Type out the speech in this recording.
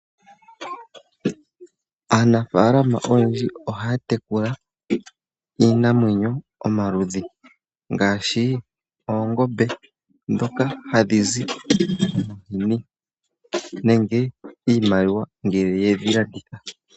Aanafalama oyendji ohaya tekula iinamwenyo omaludhi ngaashi oongoombe dhoka hadhi zi omahini nenge iimaliwa ngele yedhilanditha.